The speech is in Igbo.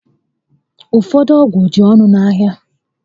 Ụfọdụ ọgwụ dị ọnụ ahịa